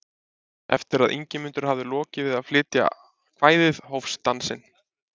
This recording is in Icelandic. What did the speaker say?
Eftir að Ingimundur hafði lokið við að flytja kvæðið hófst dansinn.